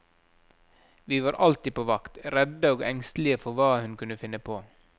Vi var alltid på vakt, redde og engstelige for hva hun kunne finne på.